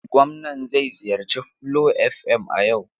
Gwamnan zai ziyarci Flo FM a yau.